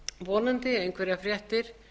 vonandi einhverjar fréttir